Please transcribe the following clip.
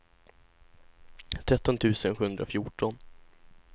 tretton tusen sjuhundrafjorton